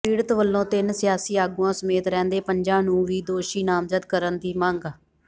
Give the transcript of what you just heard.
ਪੀੜਤ ਵੱਲੋਂ ਤਿੰਨ ਸਿਆਸੀ ਆਗੂਆਂ ਸਮੇਤ ਰਹਿੰਦੇ ਪੰਜਾਂ ਨੂੰ ਵੀ ਦੋਸ਼ੀ ਨਾਮਜ਼ਦ ਕਰਨ ਦੀ ਮੰਗ